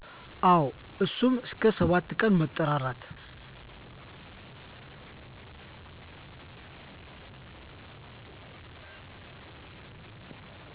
አወ እሡም አስከ ሠባትቀን መጠራራት